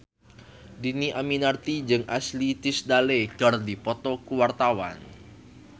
Dhini Aminarti jeung Ashley Tisdale keur dipoto ku wartawan